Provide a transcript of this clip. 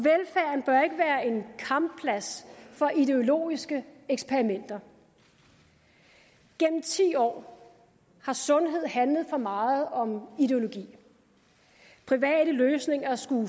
kampplads for ideologiske eksperimenter gennem ti år har sundhed handlet for meget om ideologi private løsninger skulle